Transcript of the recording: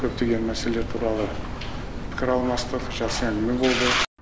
көптеген мәселелер туралы пікір алмастық жақсы әңгіме болды